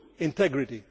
two integrity